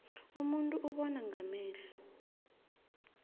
umuntu ubona ngamehlo